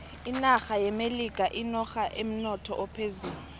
inaxha yeamelikha yinoxha enemnotho ophezulu